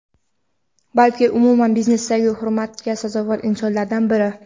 balki umuman biznesda hurmatga sazovor insonlardan biri.